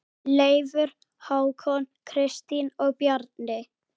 Leifur, Hákon, Kristín og Bjarni.